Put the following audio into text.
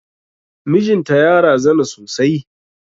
Mijin ta ya razana sosai.